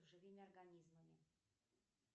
живыми организмами